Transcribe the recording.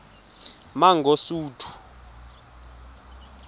mangosuthu